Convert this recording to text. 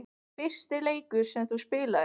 Fyrsti leikur sem þú spilaðir?